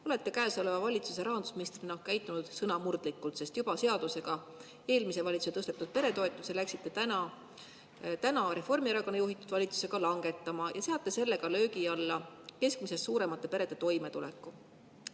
Olete käesoleva valitsuse rahandusministrina käitunud sõnamurdlikult, sest läksite eelmise valitsuse juba seadusega tõstetud peretoetusi praeguse Reformierakonna juhitud valitsusega langetama ja seate sellega löögi alla keskmisest suuremate perede toimetuleku.